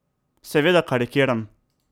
Seveda karikiram!